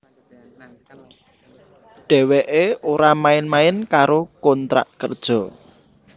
Dheweké ora main main karo kontrak kerja